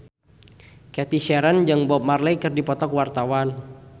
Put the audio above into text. Cathy Sharon jeung Bob Marley keur dipoto ku wartawan